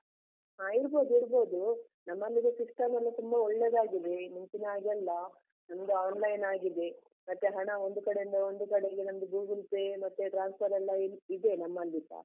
ಹಾ ಇಡ್ಬೋದ್ ಇಡ್ಬೋದು, ನಮ್ಮಲ್ಲೀಗ system ಎಲ್ಲ ತುಂಬ ಒಳ್ಳೆದಾಗಿದೆ, ಮುಂಚಿನ ಹಾಗೆ ಅಲ್ಲ ನಮ್ದು online ಆಗಿದೆ, ಮತ್ತೆ ಹಣ ಒಂದು ಕಡೆ ಇಂದ ಒಂದು ಕಡೆಗೆ ನಮ್ದು Google Pay ಮತ್ತೆ transfer ಎಲ್ಲ ಇದೆ ನಮ್ಮಲ್ಲಿಸ.